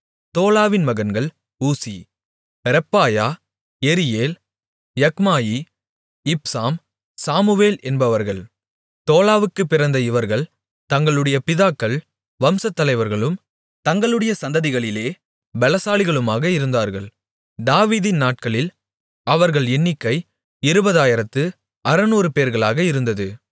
தோலாவின் மகன்கள் ஊசி ரெப்பாயா யெரியேல் யக்மாயி இப்சாம் சாமுவேல் என்பவர்கள் தோலாவுக்குப் பிறந்த இவர்கள் தங்களுடைய பிதாக்கள் வம்சத்தலைவர்களும் தங்களுடைய சந்ததிகளிலே பெலசாலிகளுமாக இருந்தார்கள் தாவீதின் நாட்களில் அவர்கள் எண்ணிக்கை இருபதாயிரத்து அறுநூறு பேர்களாக இருந்தது